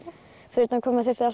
fyrir utan hvað maður þurfti að